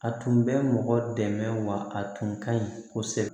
A tun bɛ mɔgɔ dɛmɛ wa a tun ka ɲi kosɛbɛ